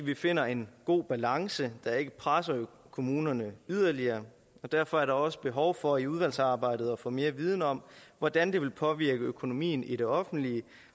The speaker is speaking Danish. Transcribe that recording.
vi finder en god balance der ikke presser kommunerne yderligere og derfor er der også behov for i udvalgsarbejdet at få mere viden om hvordan det vil påvirke økonomien i det offentlige